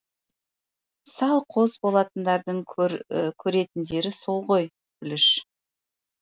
салқоз болатындардың көретіндері сол ғой пүліш